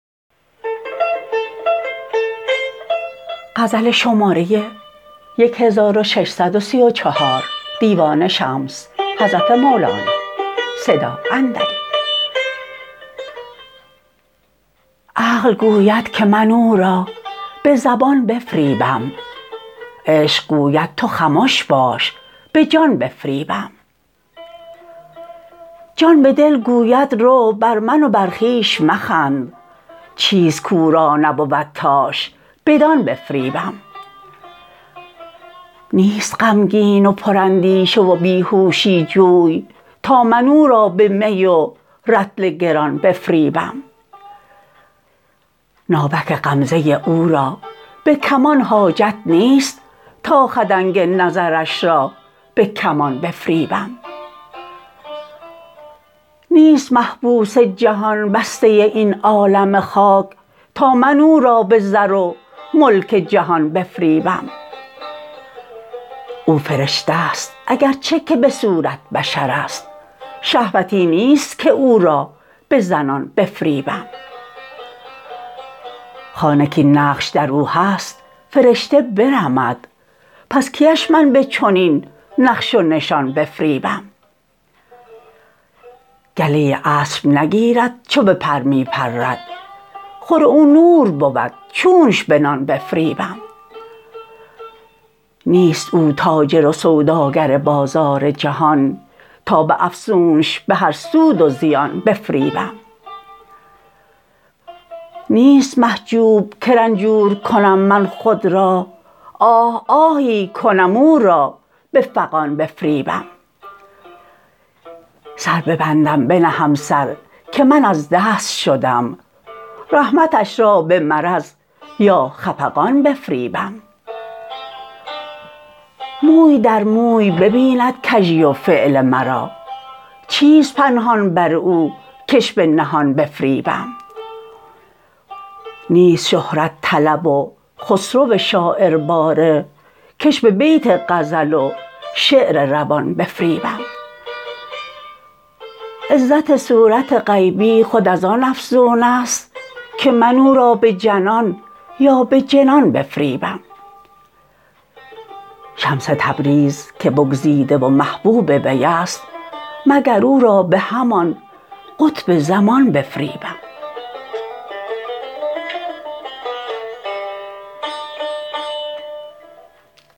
عقل گوید که من او را به زبان بفریبم عشق گوید تو خمش باش به جان بفریبم جان به دل گوید رو بر من و بر خویش مخند چیست کو را نبود تاش بدان بفریبم نیست غمگین و پراندیشه و بی هوشی جوی تا من او را به می و رطل گران بفریبم ناوک غمزه او را به کمان حاجت نیست تا خدنگ نظرش را به کمان بفریبم نیست محبوس جهان بسته این عالم خاک تا من او را به زر و ملک جهان بفریبم او فرشته ست اگر چه که به صورت بشر است شهوتی نیست که او را به زنان بفریبم خانه کاین نقش در او هست فرشته برمد پس کیش من به چنین نقش و نشان بفریبم گله اسب نگیرد چو به پر می پرد خور او نور بود چونش به نان بفریبم نیست او تاجر و سوداگر بازار جهان تا به افسونش به هر سود و زیان بفریبم نیست محجوب که رنجور کنم من خود را آه آهی کنم او را به فغان بفریبم سر ببندم بنهم سر که من از دست شدم رحمتش را به مرض یا خفقان بفریبم موی در موی ببیند کژی و فعل مرا چیست پنهان بر او کش به نهان بفریبم نیست شهرت طلب و خسرو شاعرباره کش به بیت غزل و شعر روان بفریبم عزت صورت غیبی خود از آن افزون است که من او را به جنان یا به جنان بفریبم شمس تبریز که بگزیده و محبوب وی است مگر او را به همان قطب زمان بفریبم